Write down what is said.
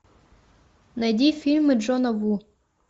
найди фильмы джона ву